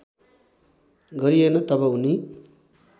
गरिएन तब उनी